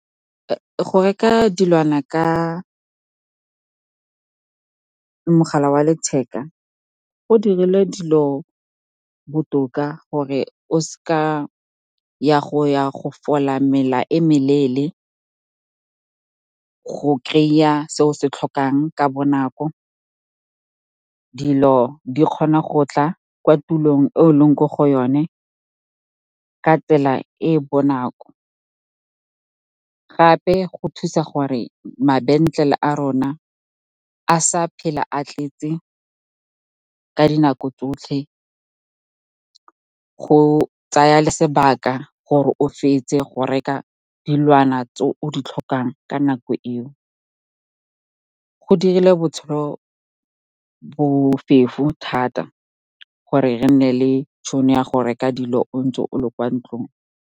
Go reka dilwana ka mogala wa letheka go dirile dilo botoka gore o se ka ya go ya go fola mela e meleele, go kry-a se o se tlhokang ka bonako. Dilo di kgona go tla kwa tulong e o leng ko go yone ka tsela e e bonako. Gape go thusa gore mabenkele a rona a sa phela a tletse ka dinako tsotlhe, go tsaya le sebaka gore o fetse go reka dilwana tse o di tlhokang ka nako eo. Go dirile botshelo bofefo thata, gore re nne le tšhono ya go reka dilo o ntse o le kwa ntlong.